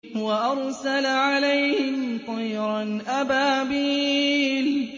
وَأَرْسَلَ عَلَيْهِمْ طَيْرًا أَبَابِيلَ